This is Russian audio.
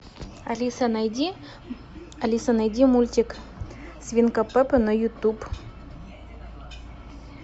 алиса найди алиса найди мультик свинка пеппа на ютуб